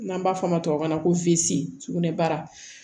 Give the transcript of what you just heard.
N'an b'a fɔ o ma tubabukan na ko finsin sugunɛbara